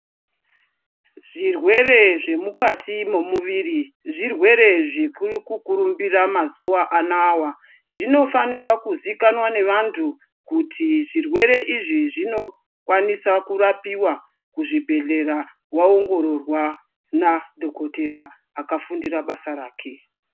Zvirwere zvemukati memuviri zvirwere zviri kukurumbira mazuva anawa zvinofanirwa kuzikanwa nevantu kuti zvirwere izvi zvinokwanisa kurapiwa kuzvibhehlera waongororwa nadhokodhera akafundira basa rake